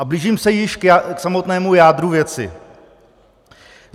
A blížím se již k samotnému jádru věci.